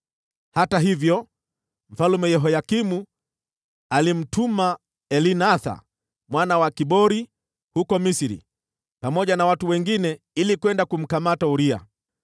Hata hivyo, Mfalme Yehoyakimu alimtuma Elnathani mwana wa Akbori huko Misri, pamoja na watu wengine ili kwenda kumkamata Uria.